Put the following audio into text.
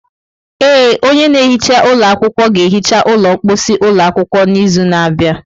Ee, onye na-ehicha ụlọ akwụkwọ ga-ehicha ụlọ mposi ụlọ akwụkwọ n'izu na-abịa.